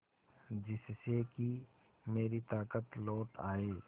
जिससे कि मेरी ताकत लौट आये